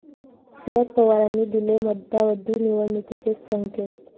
शरद पवारांनी दिले मध्यावधी निवडणुकीचे संकेत